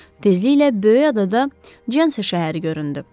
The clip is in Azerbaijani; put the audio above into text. Tezliklə böyük adada Jansi şəhəri göründü.